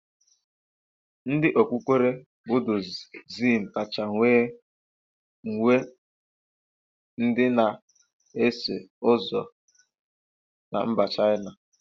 Ndị okpukpere Budiizm kacha wee nwee ndị na-eso ụzọ na mba Chaịna.